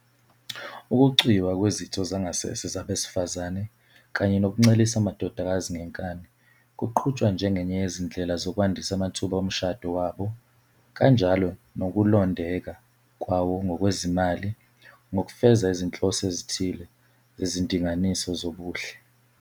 Ukucwiywa kwezitho zangasese zabesifazane kanye nokuncelisa amadodakazi ngenkani kuqhutshwa njengenye yezindlela zokwandisa amathuba omshado wabo kanjalo nokulondeka kwawo ngokwezimali ngokufeza izinhloso ezithile zezindinganiso zobuhle.